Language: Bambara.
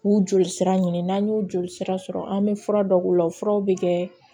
K'u joli sira ɲini n'an y'o joli sira sɔrɔ an bɛ fura dɔ k'u la o furaw bɛ kɛ